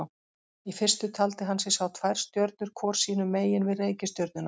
Í fyrstu taldi hann sig sjá tvær stjörnur hvor sínu megin við reikistjörnuna.